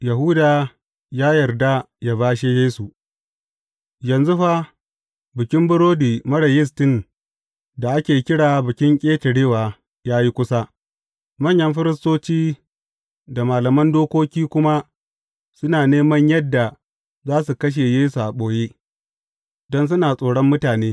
Yahuda ya yarda ya bashe Yesu Yanzu fa, Bikin Burodi Marar Yistin da ake kira Bikin Ƙetarewa ya yi kusa, manyan firistoci da malaman dokoki kuma suna neman yadda za su kashe Yesu a ɓoye, don suna tsoron mutane.